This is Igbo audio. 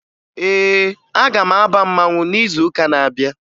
Ee, aga m aba mmanwụ n'izuụka na-abịa